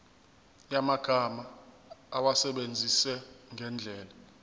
yamagama awasebenzise ngendlela